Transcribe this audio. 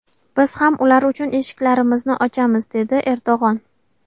Biz ham ular uchun eshiklarimizni ochamiz”, dedi Erdo‘g‘on.